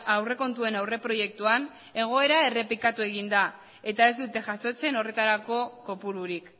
aurrekontuen aurreproiektuan egoera errepikatu egin da eta ez dute jasotzen horretarako kopururik